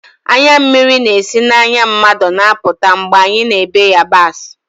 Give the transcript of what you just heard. Anya mmiri na-esi n'anya mmadụ na-apụta mgbe anyị na-èbe yabasị